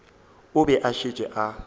o be a šetše a